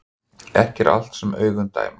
Ekki er allt sem augun dæma